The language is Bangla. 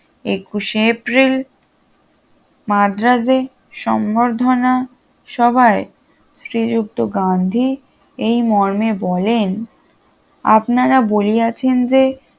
একুশে এপ্রি মাদ্রাজে সম্বর্ধনা সভায় শ্রীযুক্ত গান্ধী এই মর্মে বলেন বলিয়াছেন যে